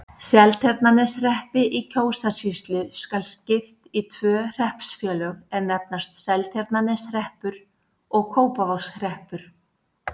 Seltjarnarneshreppi í Kjósarsýslu skal skipt í tvö hreppsfélög, er nefnast Seltjarnarneshreppur og Kópavogshreppur.